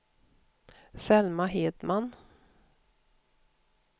Selma Hedman